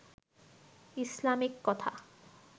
Islamic কথা